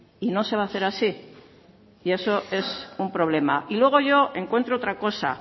y no se va a hacer así y eso es un problema y luego yo encuentro otra cosa